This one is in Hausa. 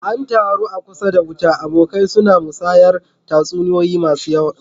An taru a kusa da wuta, abokai suna musayar tatsuniyoyi masu tsayi.